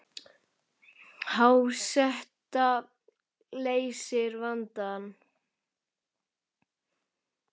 Há seta leysir vandann